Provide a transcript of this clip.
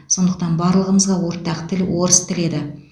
сондықтан барлығымызға ортақ тіл орыс тілі еді